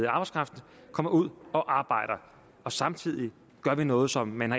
arbejdskraft kommer ud og arbejder og samtidig gør vi noget som man